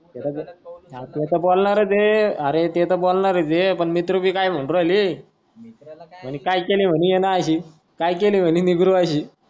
R ते तर बोलणारच आहे. आरे ते तर बोलनाच आहे. पण मित्र भी काय म्हणून राहले काय केल म्हणे यांनी अशी. की काय केल म्हणे हयाणी निग्रो अशी.